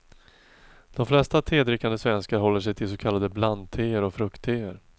De flesta tedrickande svenskar håller sig till så kallade blandteer och fruktteer.